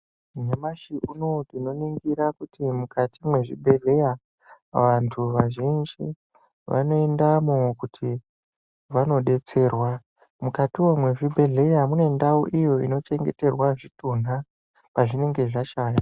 Nyamashi unouyu, tinoringira kuti mukati mezvibhedleya vantu vazhinji vanoendamo kuti vanodetserwa ,mukatiwo mezvibhedlera mune ndawo iyo inochengeterwa zvitunha pazvinenge zvashaya.